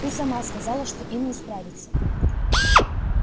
ты сама сказала что им не справиться